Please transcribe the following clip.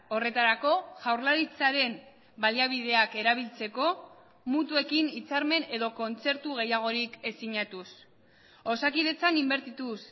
horretarako jaurlaritzaren baliabideak erabiltzeko mutuekin hitzarmen edo kontzertu gehiagorik ez sinatuz osakidetzan inbertituz